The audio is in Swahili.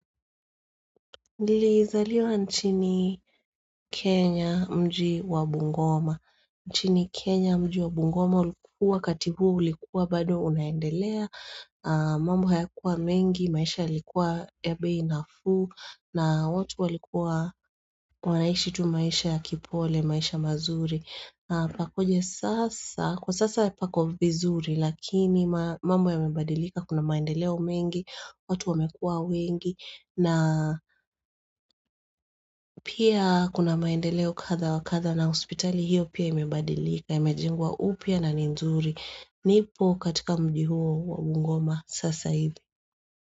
Nilizaliwa nchini Kenya mji wa Bungoma. Nchini Kenya mji wa Bungoma ulikuwa wakati huo ulikuwa bado unaendelea. Mambo hayakuwa mengi, maisha yalikuwa ya bei nafuu na watu walikuwa wanaishi tu maisha ya kipole, maisha mazuri. Kukakuja sasa, kwa sasa pako vizuri lakini mambo yamebadilika kuna maendeleo mengi, watu wamekuwa wengi na pia kuna maendeleo kadha wa kadha na hospitali hiyo pia imebadilika na imejengwa upya na ni nzuri. Nipo katika mji huo wa bungoma sasa hivi.